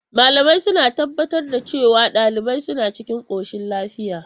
Malamai suna tabbatar da cewa daliban suna cikin koshin lafiya.